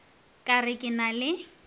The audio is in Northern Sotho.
ka re ke na le